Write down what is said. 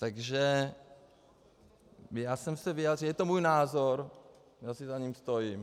Takže já jsem se vyjádřil, je to můj názor, já si za ním stojím.